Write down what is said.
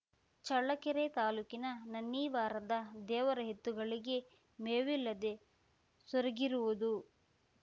ಚಳ್ಳಕೆರೆ ತಾಲೂಕಿನ ನನ್ನಿವಾರದ ದೇವರ ಎತ್ತುಗಳಿಗೆ ಮೇವಿಲ್ಲದೆ ಸೊರಗಿರುವುದು